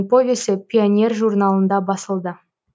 повесі пионер журналында басылды